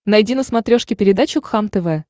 найди на смотрешке передачу кхлм тв